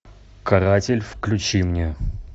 каратель включи мне